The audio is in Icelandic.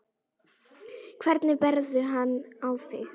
Hvernig berðu hann á þig?